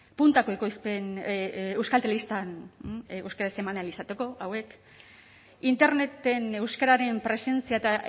puntako ekoizpen euskal telebistan euskaraz eman ahal izateko hauek interneten euskararen presentzia eta